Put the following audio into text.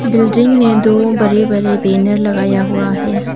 Building में दो बरे बरे बैनर लगाया हुआ है।